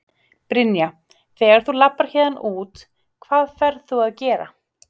Brynja: Þegar þú labbar héðan út, hvað ferð þú að gera?